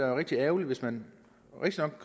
er rigtig ærgerligt hvis man